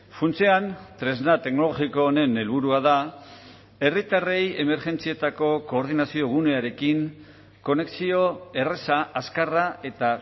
funtsean tresna teknologiko honen helburua da herritarrei emergentzietako koordinazio gunearekin konexio erraza azkarra eta